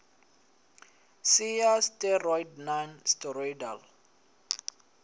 si ya steroid non steroidal